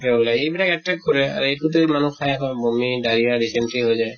ওলায় এইবিলাক attract কৰে আৰু মানুহ খায় হয় বমি diarrhea dysentery হৈ যায়